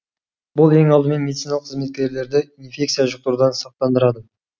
бұл ең алдымен медициналық қызметкерлерді инфекция жұқтырудан сақтандырады